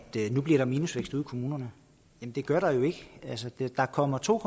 nu bliver der minusvækst i kommunerne det gør der jo ikke der kommer to